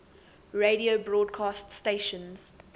radio broadcast stations